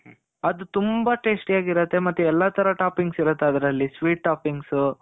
ಅದ್ ತುಂಬಾ tasty ಆಗಿರುತ್ತೆ. ಮತ್ತೆ ಎಲ್ಲಾ ತರ toppings ಇರುತ್ತೆ ಅದ್ರಲ್ಲಿ. sweet toppings.